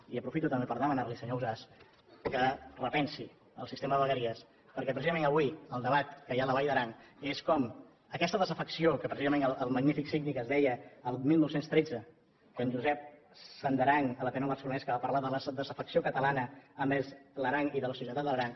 i aprofito també per demanar li senyor ausàs que repensi el sistema de vegueries perquè precisament avui el debat que hi ha a la vall d’aran és com aquesta desafecció que precisament el magnífic síndic ens deia del dinou deu tres que en josep sandaran a l’ateneu barcelonès va parlar de la desafecció catalana envers l’aran i de la soledat de l’aran